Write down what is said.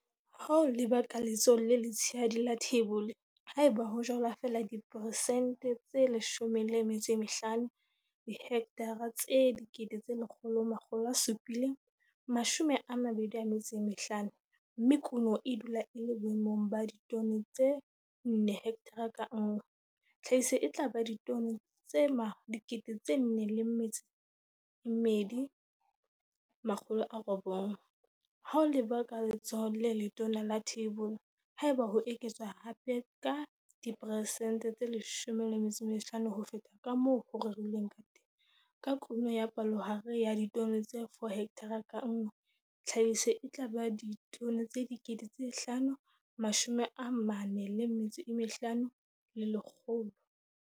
Ha o leba ka letsohong le letshehadi la theibole, ha eba ho jalwa feela diperesente tse 15, dihekthara tse 100 725, mme kuno e dula e le boemong ba ditone tse 4 hekthara ka nngwe, tlhahiso e tla ba ditone tse 402 900, Ha o leba ka letsohong le letona la theibole, ha eba ho eketswa hape ka diperesente tse 15 ho feta ka moo ho rerilweng ka teng, ka kuno ya palohare ya ditone tse 4 hekthara ka nngwe, tlhahiso e tla ba ditone tse 545 100.